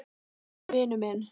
Hann er vinur minn.